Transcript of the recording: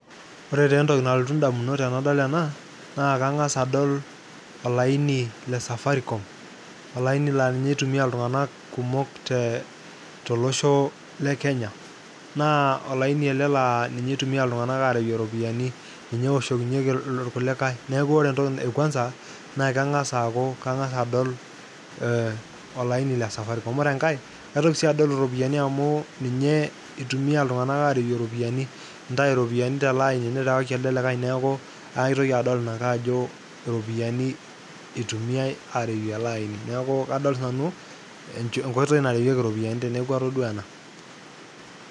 Ore taa entoki naaltu indamunot tenado ena naa kang'asa adol olaini le safaricom, olaini naa ninye itumia iltung'anak kumok te tolosho le Kenya. Naa olaini ele laa nye itumia iltung'anak kumok arewie iropiani, ninye ewoshokinyeki irkulikai neeku kore entoki e kwanza naa nee kang'asa aaku kang'as adol olaini le safaricom. Ore enkae kaitoki sii adol iropiani amu ninye itumia iltung'anak arewie iropiani, intayu iropiani tele aini nirewaki elde likai. Neeku aitoki adol ina ake ajo iropiani itumiai arewie ele aini, neeku kadol sinanu enkoitoi narewueki iropiani teneeku atodua ena.